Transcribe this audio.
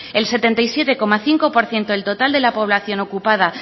el setenta y siete coma cinco por ciento del total de la población ocupada